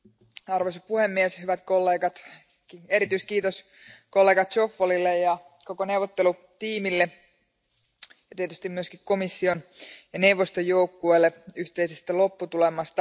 Arvoisa puhemies, hyvät kollegat, erityiskiitos kollega Zoffolille ja koko neuvottelutiimille ja tietysti myös komission ja neuvoston joukkueelle yhteisestä lopputulemasta.